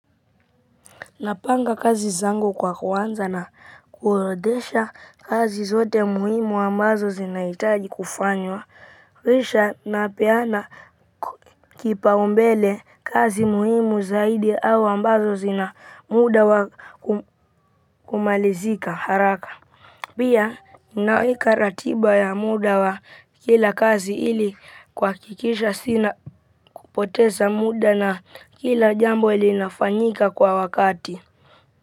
Napanga kazi zangu kwa kunza na kuorodesha kazi zote muhimu ambazo zinaitaji kufanywa kisha napeana kipaumbele kazi muhimu zaidi au ambazo zinamuda wakumalizika haraka. Pia naweka ratiba ya muda wa kila kazi ili kuhakikisha sina kupoteza muda na kila jambo ilinafanyika kwa wakati wakati.